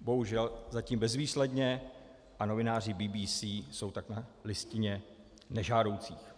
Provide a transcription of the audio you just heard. bohužel zatím bezvýsledně a novináři BBC jsou tak na listině nežádoucích.